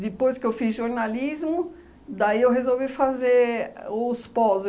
Depois que eu fiz jornalismo, daí eu resolvi fazer os pós